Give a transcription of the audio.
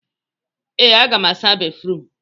Ee, aga m asa béfrụm.